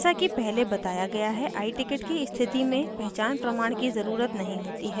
जैसा कि पहले बताया गया है iticket की स्थिति में पहचान प्रमाण की ज़रुरत नहीं होती है